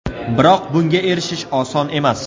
Biroq bunga erishish oson emas.